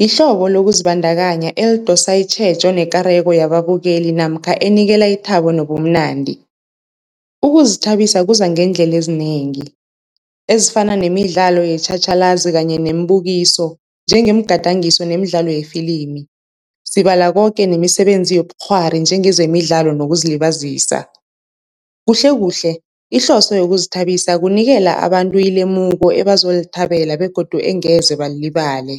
yihlobo lokuzibandakanya elidosa itjhejo nekareko yababukeli namkha enikela ithabo nobumnandi. Ukuzithabisa kuza ngeendlela ezinengi ezifana nemidlalo yetjhatjhalazi kanye nembukiso njengemigadangiso nemidlalo yefilimi, sibala koke nemisebenzi yobukghwari njengezemidlalo nokuzilibazisa. Kuhle kuhle ihloso yokuzithabisa kunikela abantu ilemuko ebazolithabela begodu engeze balilibale.